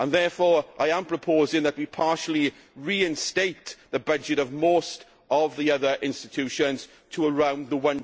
detail. I am therefore proposing that we partially reinstate the budget of most of the other institutions to around